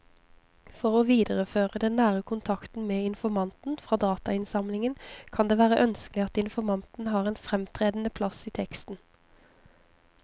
For å videreføre den nære kontakten med informanten fra datainnsamlingen kan det være ønskelig at informanten har en fremtredende plass i teksten.